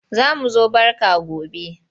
Za mu zo barka gone.